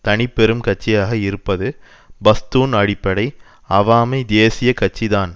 தனிப்பெரும் கட்சியாக இருப்பது பஸ்தூன் அடிப்படை அவாமி தேசிய கட்சி தான்